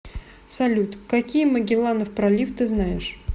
салют какие магелланов пролив ты знаешь